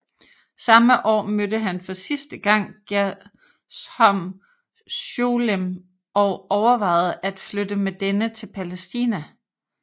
Samme år mødte han for sidste gang Gershom Sholem og overvejede at flytte med denne til Palæstina